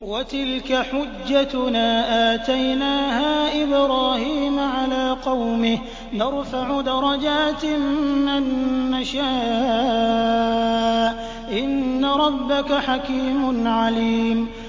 وَتِلْكَ حُجَّتُنَا آتَيْنَاهَا إِبْرَاهِيمَ عَلَىٰ قَوْمِهِ ۚ نَرْفَعُ دَرَجَاتٍ مَّن نَّشَاءُ ۗ إِنَّ رَبَّكَ حَكِيمٌ عَلِيمٌ